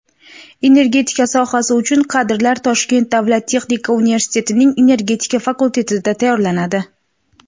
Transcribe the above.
energetika sohasi uchun kadrlar Toshkent davlat texnika universitetining Energetika fakultetida tayyorlanadi.